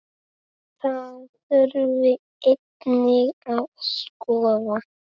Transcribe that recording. Það þurfi einnig að skoða.